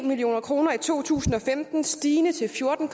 million kroner i to tusind og femten stigende til fjorten